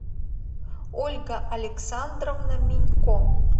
ольга александровна минько